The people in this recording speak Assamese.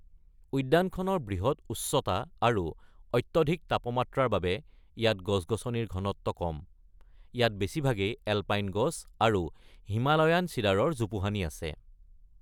উদ্যানখনৰ বৃহৎ উচ্চতা আৰু অত্যাধিক তাপমাত্ৰাৰ বাবে ইয়াত গছ-গছনিৰ ঘনত্ব কম, ইয়াত বেছিভাগেই এলপাইন গছ আৰু হিমালয়ান চিডাৰৰ জোপোহানি আছে।